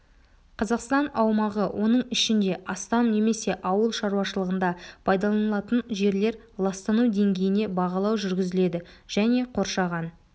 қазақстан аумағы оның ішінде астам немесе ауыл шаруашылығында пайдаланылатын жерлер ластану деңгейіне бағалау жүргізіледі және қоршаған